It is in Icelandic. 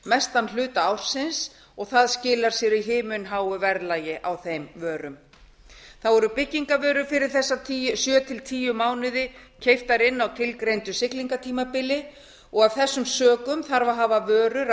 mestan hluta ársins sem skilar sér í himinháu verðlagi á þeim vörum einnig eru byggingarvörur fyrir þessa sjö til tíu mánuði keyptar inn á tilgreindu siglingatímabili af þessum sökum þarf að hafa vörur